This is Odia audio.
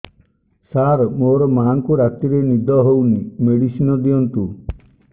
ସାର ମୋର ମାଆଙ୍କୁ ରାତିରେ ନିଦ ହଉନି ମେଡିସିନ ଦିଅନ୍ତୁ